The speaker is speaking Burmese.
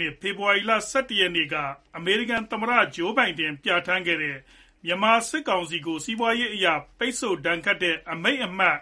နှစ်၊ ဖေဖေါ်ဝါရီလ (၁၁) ရက်နေ့က အမေရိကန်သမ္မတဂျိုးဘိုင်ဒန် ပြဌာန်းခဲ့တဲ့ မြန်မာစစ်ကောင်စီအပေါ်ဒဏ်ခတ်ခဲ့တဲ့ အမိန့်အမှတ်